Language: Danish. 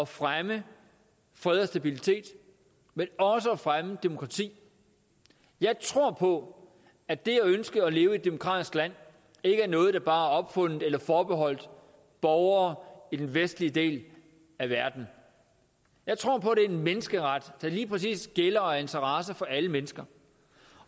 fremme fred og stabilitet men også at fremme demokrati jeg tror på at det at ønske at leve i et demokratisk land ikke er noget der bare er opfundet eller forbeholdt borgere i den vestlige del af verden jeg tror på er en menneskeret der lige præcis gælder og er en interesse for alle mennesker